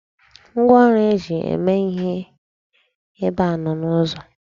Ngwaọrụ e ji eme ihe ebe a nọ n'ụzọ.